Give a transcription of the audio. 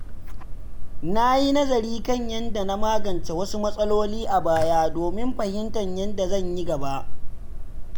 Na yi nazari kan yadda na magance wasu matsaloli a baya domin fahimtar yadda zan yi gaba.